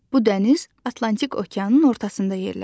Bu dəniz Atlantik okeanın ortasında yerləşir.